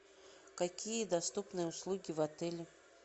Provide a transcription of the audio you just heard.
какие доступны услуги в отеле